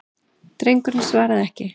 Drengurinn svaraði ekki.